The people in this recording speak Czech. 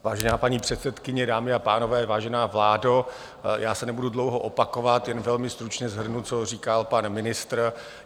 Vážená paní předsedkyně, dámy a pánové, vážená vládo, já se nebudu dlouho opakovat, jen velmi stručně shrnu, co říkal pan ministr.